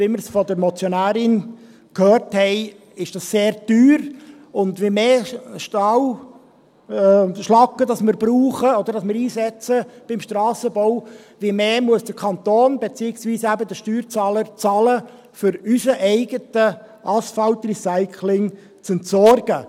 Wie wir es von der Motionärin gehört haben, ist dies sehr teuer, und je mehr Schlacke wir beim Strassenbau einsetzen, desto mehr muss der Kanton beziehungsweise eben der Steuerzahler bezahlen, um unser eigenes Asphaltrecycling zu entsorgen.